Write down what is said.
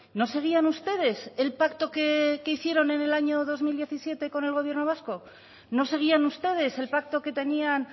no seguían ustedes el pacto que hicieron en el año dos mil diecisiete con el gobierno vasco no seguían ustedes el pacto que tenían